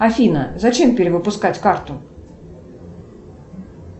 афина зачем перевыпускать карту